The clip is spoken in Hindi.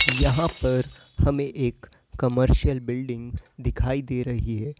यहां पर हमें एक कमर्शियल बिल्डिंग दिखाई दे रही है।